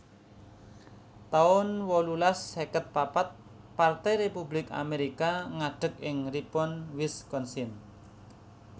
taun wolulas seket papat Partai Republik Amerika ngadeg ing Ripon Wisconsin